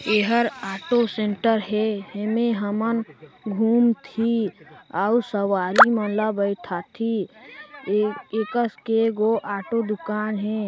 एहर auto centre हे इमे हमन घूम फिर और सवारी मन ला बैठा थी ए एकस के गो ऑटो दूकान हे।